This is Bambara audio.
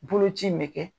Boloci in bɛ kɛ